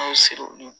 An ye siriw